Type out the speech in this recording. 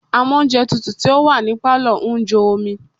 Amóùnjẹtutù tí ó wà ní Pálọ̀ ń jó omi.